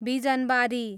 Bijanbari